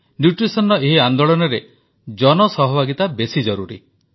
ଏହି ପୋଷଣ ଆନ୍ଦୋଳନରେ ଜନସହଭାଗିତା ବେଶୀ ଜରୁରୀ